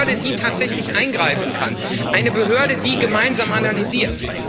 Eine Behörde, die tatsächlich eingreifen kann, eine Behörde, die gemeinsam analysiert.